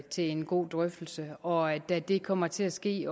til en god drøftelse og da det kommer til at ske